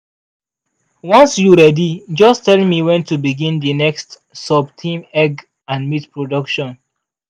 once you ready just tell me when to begin the next sub-theme egg and meat production.